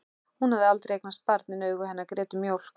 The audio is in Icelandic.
Hún hafði aldrei eignast barn en augu hennar grétu mjólk.